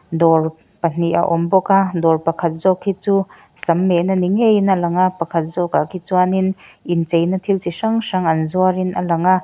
dawr pahnih a awm bawk a dawr pakhat zawk hi chu sam mehna ni ngeiin a lang a pakhat zawk ah khi chuanin inchei na thil chi hrang hrang an zuar in a lang a.